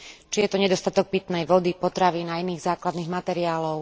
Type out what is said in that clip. Či je to nedostatok pitnej vody, potravín a iných základných materiálov.